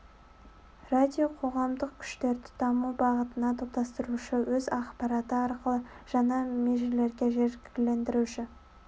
радио қоғамдық күштерді даму бағытына топтастырушы өз ақпараты арқылы жаңа межелерге жігерлендіруші